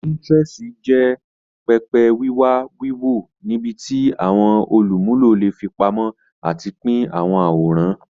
Pinterest jẹ pẹpẹ wiwa wiwo nibiti awọn olumulo le fipamọ ati pin awọn aworan.